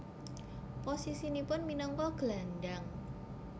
Posisinipun minangka gelandang